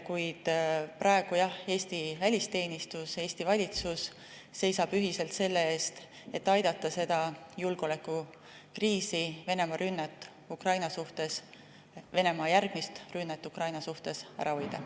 Kuid praegu jah, Eesti välisteenistus ja Eesti valitsus seisavad ühiselt selle eest, et aidata seda julgeolekukriisi, Venemaa järgmist rünnet Ukraina suhtes ära hoida.